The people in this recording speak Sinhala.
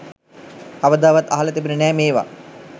කවදාවත් අහල තිබුණෙ නෑ මේවා.